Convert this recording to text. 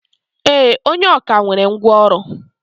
E, onye ọkà nwere ngwá ọrụ.